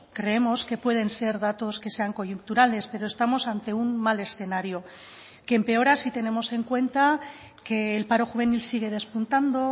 creemos que pueden ser datos que sean coyunturales pero estamos ante un mal escenario que empeora si tenemos en cuenta que el paro juvenil sigue despuntando